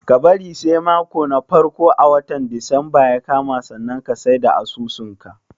Ka bari sai mako na farko a watan disamba ya kama sannan ka sai da asusun ka.